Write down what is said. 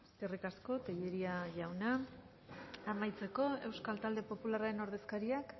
eskerrik asko tellería jauna amaitzeko euskal talde popularraren ordezkariak